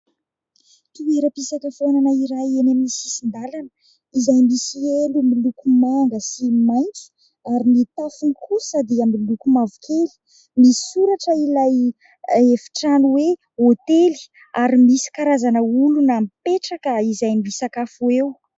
Toeram-pisakafoanana iray eny amin'ny sisin-dalana izay misy elo miloko manga sy maitso ary ny tafony kosa dia miloko mavokely. Misy soratra ilay efitrano hoe hotely ary misy karazana olona mipetraka izay misakafo eo.